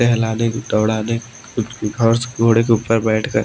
टहलने दौड़ाने और उस घोड़े के ऊपर बैठ गए--